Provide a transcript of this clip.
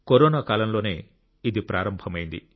corona కాలంలోనే ఇది ప్రారంభమైంది